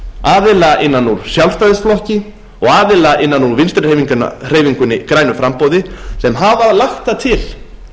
aðila innan úr sjálfstæðisflokki og aðila innan úr vinstri hreyfingunni grænu framboði sem hafa lagt það til